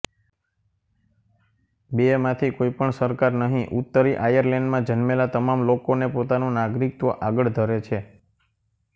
બેમાંથી કોઈ પણ સરકાર નહીં ઉત્તરી આયર્લૅન્ડમાં જન્મેલા તમામ લોકોને પોતાનું નાગરિકત્વ આગળ ધરે છે